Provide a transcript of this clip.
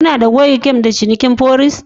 Kuna da gogewa game da cinikin forex?